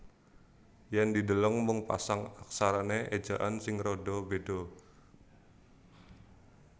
Yen dideleng mung pasang aksarane ejaan sing rada beda